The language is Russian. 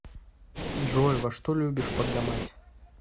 джой во что любишь погамать